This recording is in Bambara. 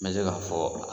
N bɛ se k'a fɔ